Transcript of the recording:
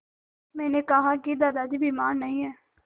मैंने कहा कि दादाजी बीमार नहीं हैं